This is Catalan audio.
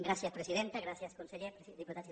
gràcies presidenta gràcies conseller diputats i diputades